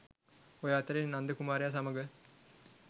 ඔය අතරේ නන්ද කුමාරයා සමඟ